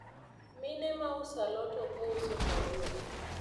mine ma uso a lot ok ouso kawuono